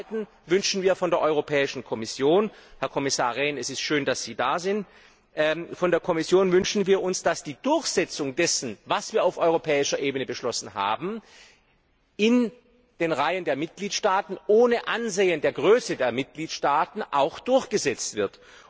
Und zum zweiten wünschen wir von der Europäischen Kommission Herr Kommissar Rehn, es ist schön dass Sie da sind dass die Durchsetzung dessen, was wir auf europäischer Ebene beschlossen haben, in den Reihen der Mitgliedstaaten ohne Ansehen der Größe der Mitgliedstaaten auch durchgesetzt wird.